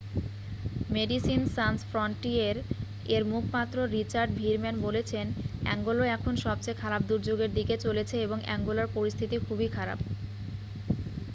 "Médecins Sans ফ্রন্টিয়ের-এর মুখপাত্র Richard Veerman বলেছেনঃ অ্যাঙ্গোলা এখন সবচেয়ে খারাপ দুর্যোগের দিকে চলেছে এবং অ্যাঙ্গোলার পরিস্থিতি খুবই খারাপ।""